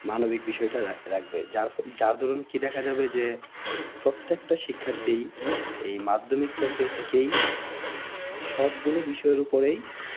মানবিক বিষয়টা রাখবে যা যার দরুন কি দেখা যাবে যে প্রত্যেকটা শিক্ষার্থী এই মাধ্যমিক পর্যায় থেকেই সব গুলো বিষয়ের ওপরেই